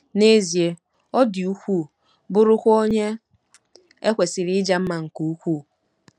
N'ezie, ọ dị ukwuu, bụrụkwa onye e kwesịrị ịja mma nke ukwuu.